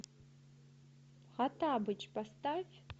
хоттабыч поставь